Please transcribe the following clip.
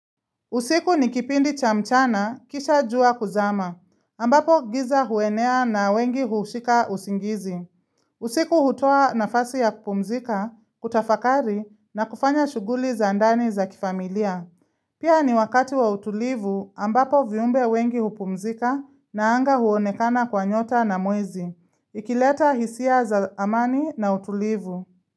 Usiku nikipindi cha mchana kisha jua kuzama, ambapo giza huenea na wengi hushika usingizi. Usiku hutoa nafasi ya kupumzika, kutafakari na kufanya shuguli za ndani za kifamilia. Pia ni wakati wa utulivu ambapo viumbe wengi hupumzika na anga huonekana kwa nyota na mwezi. Ikileta hisia za amani na utulivu.